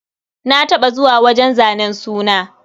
Na taɓa zuwa wajen zanen suna.